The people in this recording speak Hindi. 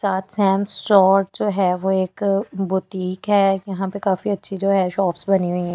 सात्स्याम स्टोर जो है वो एक बुटीक है यहाँ पे काफी अच्छी जो है शॉप्स बानी हुई है ।